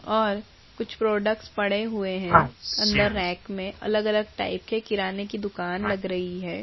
और कुछ प्रोडक्टस पड़े हुए हैं अंदर रैक में अलग-अलग टाइप के किराने की दुकान लग रही है।